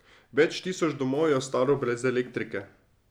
Več tisoč domov je ostalo brez elektrike.